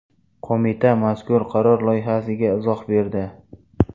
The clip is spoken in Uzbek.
Qo‘mita mazkur qaror loyihasiga izoh berdi .